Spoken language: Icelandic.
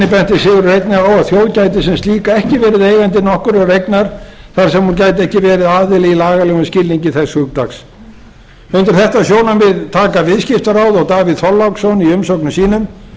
sigurður einnig á að þjóð gæti sem slík ekki verið eigandi nokkurrar eignar þar sem hún gæti ekki verið aðili í lagalegum skilningi þess hugtaks undir þetta sjónarmið taka viðskiptaráð og davíð þorláksson í umsögnum sínum birgir þór